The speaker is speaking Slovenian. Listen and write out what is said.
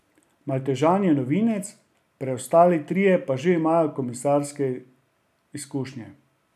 Maltežan je novinec, preostali trije pa že imajo komisarske izkušnje.